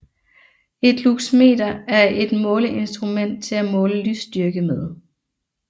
Et luxmeter er et måleinstrument til at måle lysstyrke med